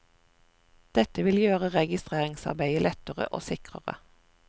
Dette vil gjøre registreringsarbeidet lettere og sikrere.